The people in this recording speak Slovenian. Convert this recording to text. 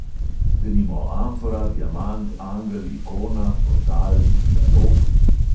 Denimo amfora, diamant, angel, ikona, portal, dialog ...